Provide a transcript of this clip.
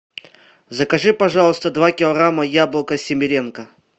закажи пожалуйста два килограмма яблока семеренко